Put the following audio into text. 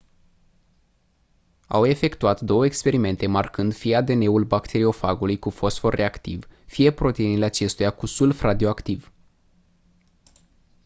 au efectual două experimente marcând fie adn-ul bacteriofagului cu fosfor radioactiv fie proteinele acestuia cu sulf radioactiv